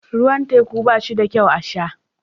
Ruwan teku ba shi da kyau a sha